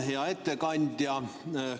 Hea ettekandja!